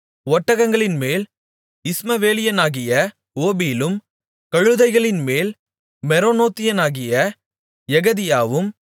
ஒட்டகங்களின்மேல் இஸ்மவேலியனாகிய ஓபிலும் கழுதைகளின்மேல் மெரோனோத்தியனாகிய எகெதியாவும்